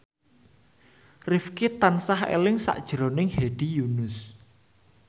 Rifqi tansah eling sakjroning Hedi Yunus